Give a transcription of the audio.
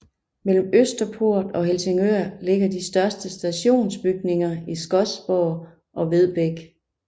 Mellem Østerport og Helsingør ligger de største stationsbygninger i Skodsborg og Vedbæk